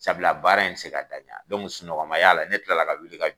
Sabula baara in tɛ ka taa ɲa sunɔgɔ man y'a la ne tila la ka wuli ka